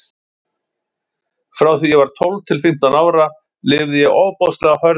Frá því að ég var tólf til fimmtán ára lifði ég ofboðslega hörðu lífi.